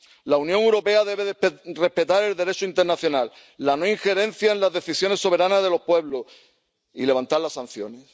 La Unión Europea debe respetar el Derecho internacional, la no injerencia en las decisiones soberanas de los pueblos, y levantar las sanciones.